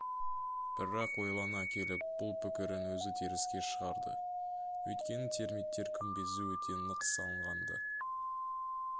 бірақ ойлана келіп бұл пікірін өзі теріске шығарды өйткені термиттер күмбезі өте нық салынған-ды